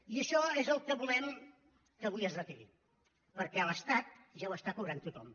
i això és el que volem que avui es retiri perquè a l’estat ja ho està cobrant tothom